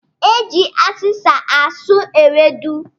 E ji azịzị asụ ewedu